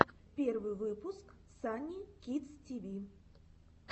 первый выпуск санни кидс ти ви